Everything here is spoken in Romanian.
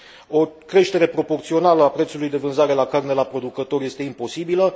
O creștere proporțională a prețului de vânzare la carne la producător este imposibilă.